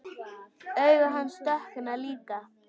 Augu hans dökkna líka.